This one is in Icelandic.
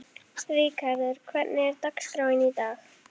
Ríkharður, hvernig er dagskráin í dag?